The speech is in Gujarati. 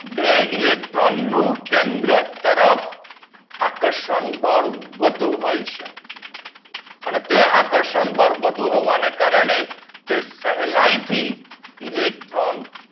બે ઇલેક્ટ્રોન નું કેન્દ્ર તરફ આકર્ષણ બાલ વધુ હોય છે તે આકર્ષણ બાલ વધુ હોવાના કારણે સહેલાઈ થી ઇલેક્ટ્રોન